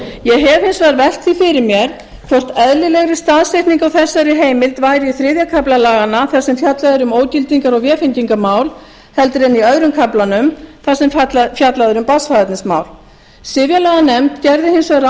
ég hef hins vegar velt því fyrir mér hvort eðlilegri staðsetning á þessari heimild væri í þriðja kafla laganna þar sem fjallað er um ógildingar og vefengingarmál heldur en í öðrum kaflanum þar sem fjallað er um barnsfaðernismál sifjalaganefnd gerði hins vegar